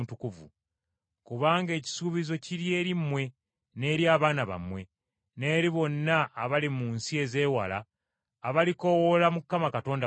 Kubanga ekisuubizo kiri eri mmwe n’eri abaana bammwe, n’eri bonna abali mu nsi ezeewala abalikoowoola Mukama Katonda waffe.”